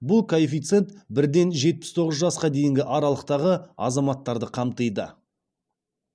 бұл коэффициент бірден жетпіс тоғыз жасқа дейінгі аралықтағы азаматтарды қамтиды